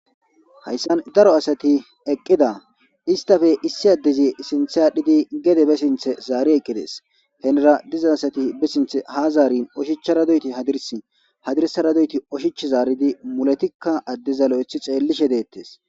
hayssan daro asati eqqida istafe issi addezi sinthe aadhidi gede be sinthe zaari eqqides henera diza asati be sinthe ha zaarin oshichcharadoyti hadirs hadirsaradoyti oshich zaaridi mulatikka adde zalo7ethi xeellishe deettes